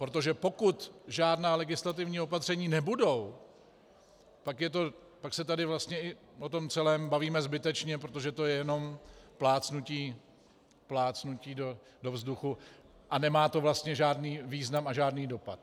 Protože pokud žádná legislativní opatření nebudou, pak se tady vlastně i o tom celém bavíme zbytečně, protože to je jenom plácnutí do vzduchu a nemá to vlastně žádný význam a žádný dopad.